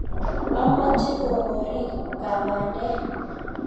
Omoche kokorik kab bandek